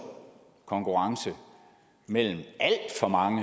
konkurrence mellem alt for mange